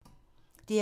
DR1